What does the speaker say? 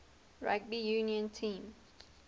rugby union team